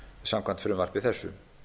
samkvæmt frumvarpi þessu